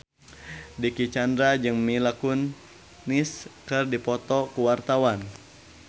Dicky Chandra jeung Mila Kunis keur dipoto ku wartawan